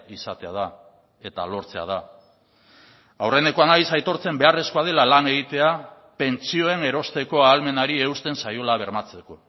izatea da eta lortzea da aurrenekoa naiz aitortzen beharrezkoa dela lan egitea pentsioen erosteko ahalmenari eusten zaiola bermatzeko